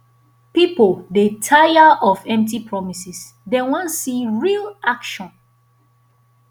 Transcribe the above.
pipo dey tire of empty promises dem wan see real action